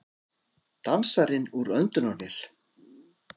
Dansarinn úr öndunarvél